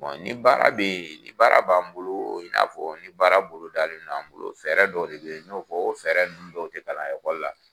ni baara bɛ ye ni baara b'an bolo i n'afɔ ni baara bolo dalen no an bolo fɛɛrɛ dɔ de bɛ ye i n y'o fɔ o fɛɛrɛ ninnu dɔw de kalan ekɔli la.